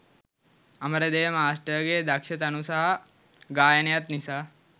අමරදේව මාස්ටර්ගේ දක්ෂ තනු සහ ගායනයත් නිසා.